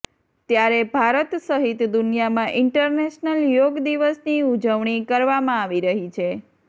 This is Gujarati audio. ત્યારે ભારત સહિત દુનિયામાં ઇન્ટરનેશનલ યોગ દિવસ ની ઉજવણી કરવામાં આવી રહી છે